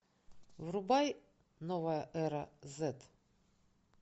врубай новая эра зэт